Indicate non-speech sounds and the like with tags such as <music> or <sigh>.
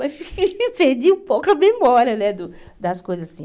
Mas <laughs> perdi um pouco a memória né do das coisas assim.